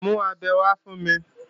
Mú abẹ wá fún mi!